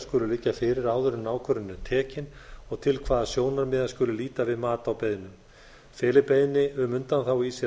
skulu liggja fyrir áður en ákvörðun er tekin og til hvaða sjónarmiða skuli líta við mat á beiðnum feli beiðni um undanþágu í sér